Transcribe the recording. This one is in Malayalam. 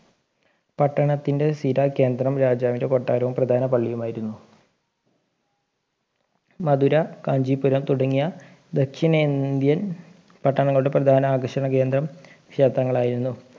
പട്ടണത്തിൻ്റെ സ്ഥിര കേന്ദ്രം രാജാവിൻ്റെ കൊട്ടാരവും പ്രധാന പള്ളിയുമായിരുന്നു മധുര കാഞ്ചീപുരം തുടങ്ങിയ ദക്ഷിണേന്ത്യൻ പട്ടണങ്ങളുടെ പ്രധാന ആകർഷണ കേന്ദ്രം ക്ഷേത്രങ്ങളായിരുന്നു